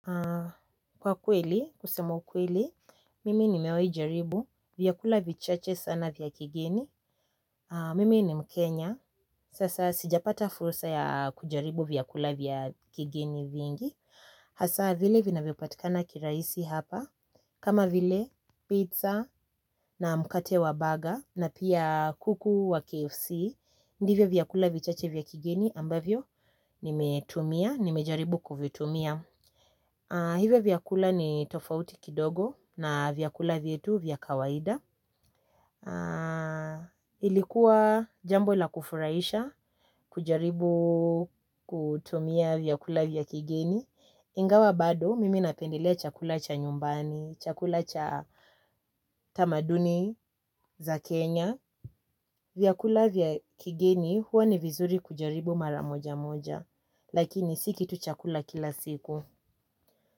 Kwa kweli, kusema kweli, mimi nimewai jaribu, viyakula vichache sana vya kigeni, mimi ni mkenya, sasa sijapata fursa ya kujaribu viyakula vya kigeni vingi, hasa vile vina vipatikana kiraisi hapa, kama vile pizza na mkate wa baga na pia kuku wa KFC, ndivyo viyakula vichache vya kigeni ambavyo nimetumia, nimejaribu kuvitumia. Hivo vyakula ni tofauti kidogo na vyakula vietu vyakawaida. Ilikuwa jambo la kufuraisha kujaribu kutumia vyakula vya kigeni ingawa bado mimi napendelea chakula cha nyumbani, chakula cha tamaduni za Kenya. Vyakula vya kigeni huwa ni vizuri kujaribu maramoja moja. Lakini siki tu chakula kila siku.